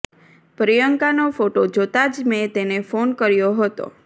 પ્રિયંકાનો photo જોતા જ મે તેને ફોન કર્યો હતો